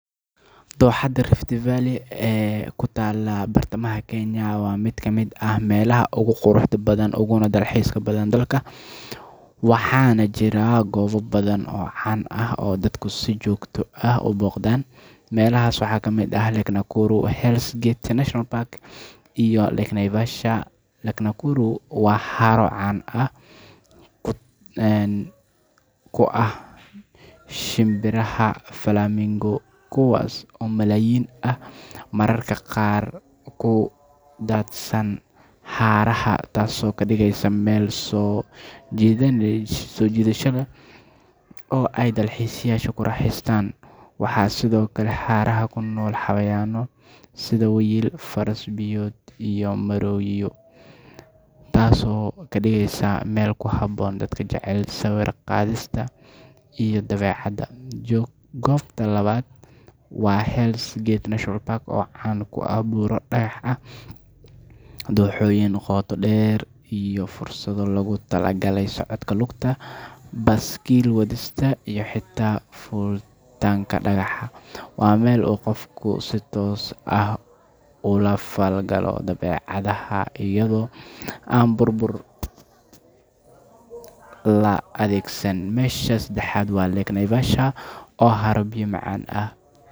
Dooxada Rift Valley ee ku taalla bartamaha Kenya waa mid ka mid ah meelaha ugu quruxda badan uguna dalxiiska badan dalka, waxaana jira goobo badan oo caan ah oo dadku si joogto ah u booqdaan. Meelahaas waxaa ka mid ah Lake Nakuru, Hell's Gate National Park, iyo Lake Naivasha. Lake Nakuru waa haro caan ku ah shimbiraha flamingos, kuwaas oo malaayiin ah mararka qaar ku daadsan harada, taasoo ka dhigaysa meel soo jiidasho leh oo ay dalxiisayaashu ku raaxaystaan. Waxaa sidoo kale harada ku nool xayawaanno sida wiyil, faras-biyood, iyo maroodiyo, taasoo ka dhigeysa meel ku habboon dadka jecel sawir-qaadista iyo dabeecadda. Goobta labaad waa Hell's Gate National Park, oo caan ku ah buuro dhagax ah, dooxooyin qoto dheer, iyo fursado loogu talagalay socodka lugta, baaskiil wadista, iyo xitaa fuulitaanka dhagaxa. Waa meel uu qofku si toos ah ula falgalo dabeecadda iyadoo aan baabuur la adeegsan. Meesha saddexaad waa Lake Naivasha, oo ah haro biyo macaan ah.